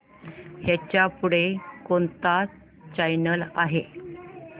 ह्याच्या पुढे कोणता चॅनल आहे